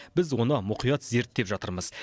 біз оны мұқият зерттеп жатырмыз